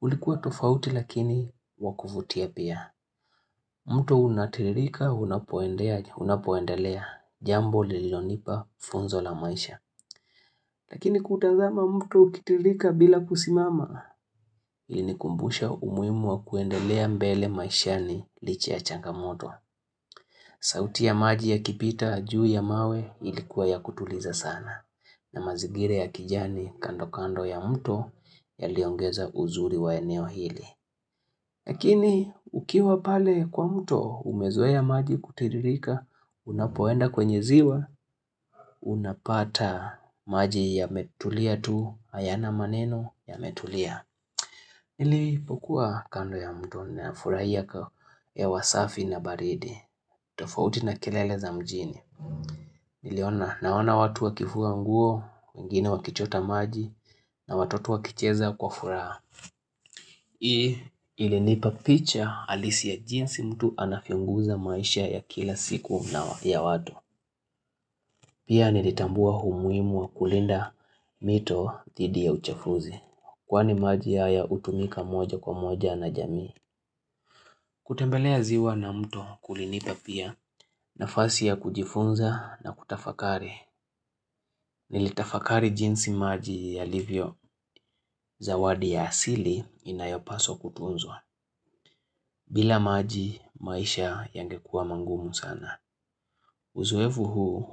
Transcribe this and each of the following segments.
Ulikuwa tofauti lakini wa kuvutia pia. Mto unatiririka unapoendelea jambo lililonipa funzo la maisha. Lakini kutazama mto ukitiririka bila kusimama, ilinikumbusha umuhimu wa kuendelea mbele maishani licha ya changamoto. Sauti ya maji yakipita, juu ya mawe ilikuwa ya kutuliza sana. Na mazingira ya kijani kando kando ya mto yaliongeza uzuri wa eneo hili. Lakini ukiwa pale kwa mto umezoea maji kutiririka unapoenda kwenye ziwa unapata maji yametulia tu hayana maneno yametulia. Nilipokua kando ya mto nafurahia hewa safi na baridi. Tofauti na kelele za mjini. Naona watu wakifua nguo wengine wakichota maji na watoto wakicheza kwa furaha ilinipa picha halisi ya jinsi mtu anavyo guza maisha ya kila siku na ya watu Pia nilitambua umuhimu wa kulinda mito dhidi ya uchafuzi Kwani maji haya hutumika moja kwa moja na jamii kutembelea ziwa na mtu kulinipa pia nafasi ya kujifunza na kutafakari Nilitafakari jinsi maji yalivyo zawadi ya asili inayopaswa kutunzwa bila maji maisha yangekua mangumu sana. Uzoefu huu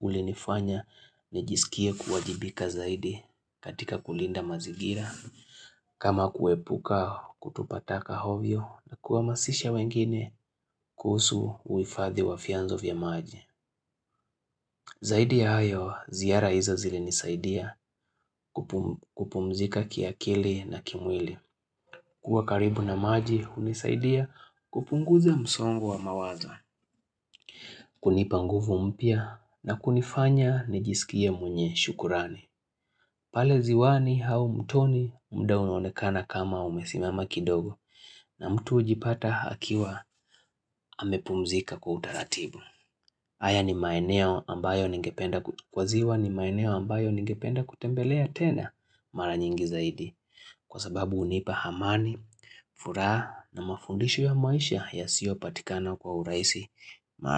ulinifanya nijisikie kuwajibika zaidi katika kulinda mazigira. Kama kuepuka kutupa taka ovyo na kuwahamasisha wengine kuhusu uhifadhi wa vyanzo vya maji. Zaidi ya hayo ziara hizo zilinisaidia kupumzika kiakili na kimwili. Kuwa karibu na maji hunisaidia kupunguza msongo wa mawazo kunipa nguvu mpya na kunifanya nijisikie mwenye shukrani. Pale ziwani au mtoni muda unaonekana kama umesimama kidogo na mtu hujipata akiwa amepumzika kwa utaratibu. Haya ni maeneo ambayo ningependa kutembelea tena mara nyingi zaidi kwa sababu hunipa amani, furaha na mafundisho ya maisha yasiyopatikana kwa urahisi mara.